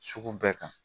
Sugu bɛɛ kan